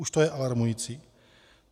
Už to je alarmující.